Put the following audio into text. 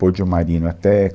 Pôde o Marino até.